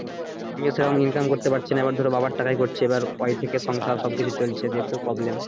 আমি হচ্ছে এখন income করতে পারছি না এবার ধরো বাবার টাকায় করছি এবার ও আয় থেকেই সংসার সবকিছু চলছে যেহেতু problem